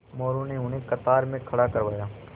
मोरू ने उन्हें कतार में खड़ा करवाया